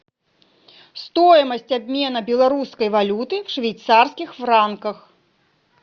стоимость обмена белорусской валюты в швейцарских франках